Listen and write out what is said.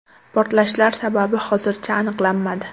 Portlashlar sababi hozircha aniqlanmadi.